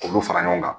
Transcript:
K'olu fara ɲɔgɔn kan